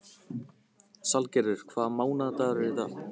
Salgerður, hvaða mánaðardagur er í dag?